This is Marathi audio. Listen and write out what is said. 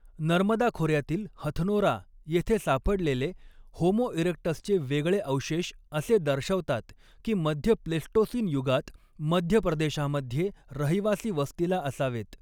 नर्मदा खोऱ्यातील 'हथनोरा' येथे सापडलेले 'होमो इरेक्टस'चे वेगळे अवशेष असे दर्शवतात की मध्य प्लेस्टोसीन युगात मध्य प्रदेशामध्ये रहिवासी वस्तीला असावेत.